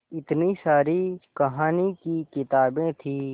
इतनी सारी कहानी की किताबें थीं